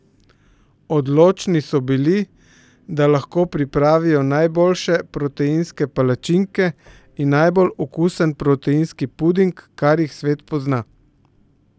Odločni so bili, da lahko pripravijo najboljše proteinske palačinke in najbolj okusen proteinski puding, kar jih svet pozna!